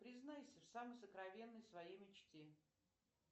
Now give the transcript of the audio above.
признайся в самой сокровенной своей мечте